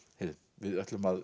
við ætlum að